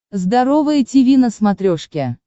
здоровое тиви на смотрешке